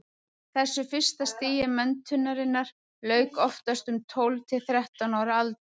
þessu fyrsta stigi menntunarinnar lauk oftast um tólf til þrettán ára aldur